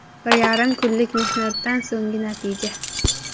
Bir yarim kunlik mehnatdan so‘nggi natija”.